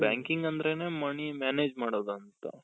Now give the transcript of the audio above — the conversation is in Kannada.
banking ಅಂದ್ರೇನೆ money manage ಮಾಡೋದಂತ.